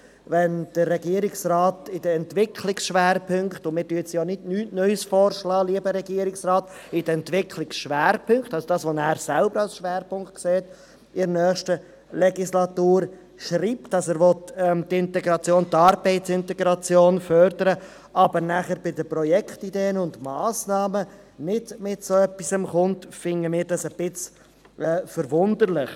Wenn der Regierungsrat in den Entwicklungsschwerpunkten – lieber Regierungsrat, wir schlagen hier nichts Neues vor – schreibt, er wolle die Arbeitsintegration fördern, aber bei den Projektideen und Massnahmen nichts Derartiges erwähnt, scheint uns dies etwas erstaunlich.